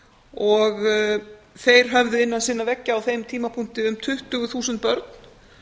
og þeir höfðu innan sinna veggja á þeim tímapunkti um tuttugu þúsund börn